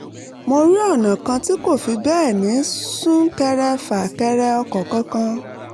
mo rí ọ̀nà kan tí kò fi bẹ́ẹ̀ ní sún-kẹrẹ-fà-kẹrẹ-ọkọ̀ kankan